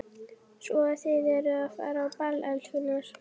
Svo að þið eruð að fara á ball, elskurnar?